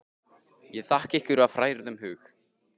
Ég þakka ykkur af hrærðum hug.